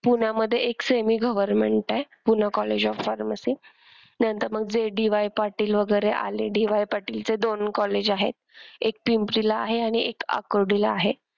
पुण्यामध्ये एक semi government आहे पूना कॉलेज ऑफ फार्मसी नंतर मग जे डी वाय पाटील वैगरे आले डी वाय पाटील चे दोन college आहेत एक पिंपरी ला आहे आणि एक आकुर्डी ला आहे.